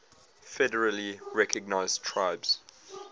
federally recognized tribes